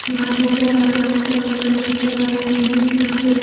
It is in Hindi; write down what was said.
आसमान नजर आ रहा है टावर नजर आ रहे हैं यहां पे--